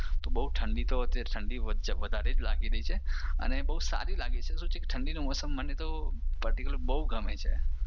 તો બઉ ઠંડી તો અત્યારે ઠંડી વધારે જ લાગી રઈ છે અને બઉ સારી છે તો ઠંડીનું મોસમ મને તો પર્ટિક્યુલર બઉ ગમે છે.